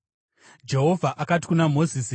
Jehovha akati kuna Mozisi,